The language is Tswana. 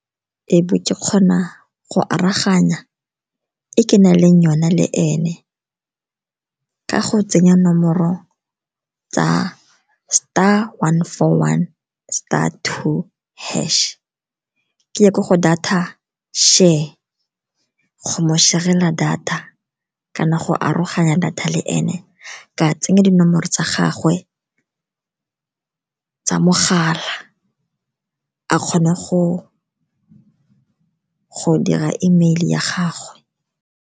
E be ke kgona go aroganya e ke na leng yona le ene ka go tsenya nomoro tsa star one four one star two hash. Ke ye ko go data share go mo share-ela data kana go aroganya data le ene, ka tsenya dinomoro tsa gagwe tsa mogala a kgone go dira email ya gagwe.